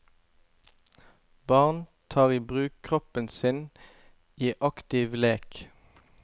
Barn tar i bruk kroppen sin i aktiv lek.